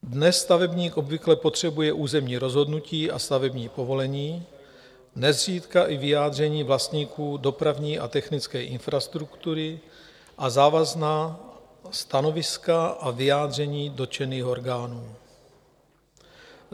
Dnes stavebník obvykle potřebuje územní rozhodnutí a stavební povolení, nezřídka i vyjádření vlastníků dopravní a technické infrastruktury a závazná stanoviska a vyjádření dotčených orgánů.